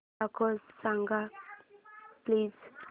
score सांग please